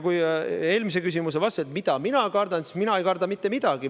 Kui eelmise küsimuse vastuseks öelda, mida mina kardan, siis mina ei karda mitte midagi.